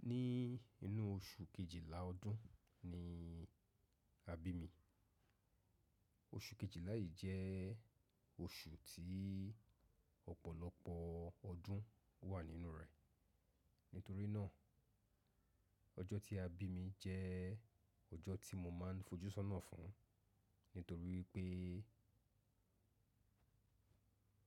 Ní inú oṣù Kejìlá ọdún ni a bí mi. Oṣù Kejìlá yìí jẹ́ oṣù tí ọ̀pọ̀lọpọ̀ ọdún wà nínú rẹ̀. Nítorí náà, ọjọ́ tí a bí mi jẹ́ ọjọ́ tí mo máa ń fojú sọ́nà fún un, nítorí wípé.